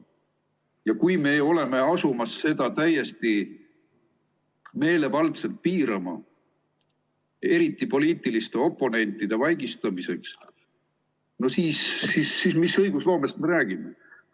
Ja kui me oleme asumas seda täiesti meelevaldselt piirama, eriti poliitiliste oponentide vaigistamiseks, siis mis õigusloomest me räägime?